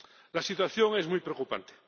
La situación es muy preocupante.